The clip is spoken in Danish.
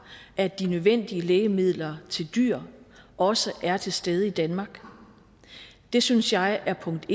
at de nødvendige lægemidler til dyr også er til stede i danmark det synes jeg er punkt